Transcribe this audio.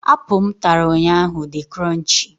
Apụl m ntara ụnyaahụ di kronchii.